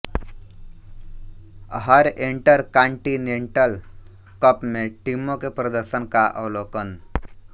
हर intercontinental cup में टीमों के प्रदर्शन का अवलोकन